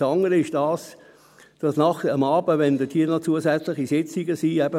Das andere ist, dass abends, wenn diese Milizleute hier noch zusätzliche Sitzungen haben …